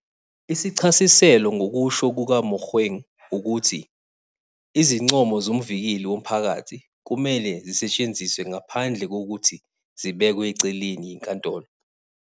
Isichasiselo, ngokusho kukaMogoeng, ukuthi izincomo zoMvikeli Womphakathi kumele zisetshenziswe ngaphandle kokuthi zibekwe eceleni yinkantolo.